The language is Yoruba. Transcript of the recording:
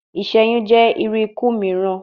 Iṣẹyun jẹ iru iku miiran